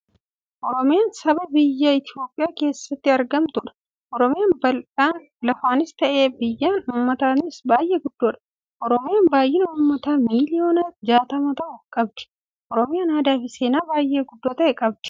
Oromiyaan saba biyya Itiyoophiyaa keessatti argamuttudha. Oromiyaan bal'inaa lafaanis ta'ee, baay'inaan ummataatiin baay'ee guddoodha. Oromiyaan baay'ina ummataa miliyoona jaatama ta'u qabdi. Oromiyaan aadaafi seenaa baay'ee guddoo ta'e qabdi. Oromiya biyya sirna gadaan bultuudha.